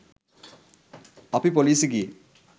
අපි පොලිසි ගියේ